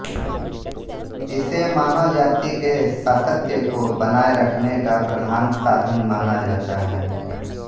इसे मानव जाति के सातत्य को बनाए रखने का प्रधान साधन माना जाता है